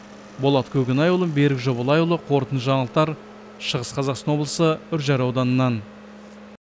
болат көкенайұлы берік жобалайұлы қорытынды жаңалықтар шығыс қазақстан облысы үржар ауданынан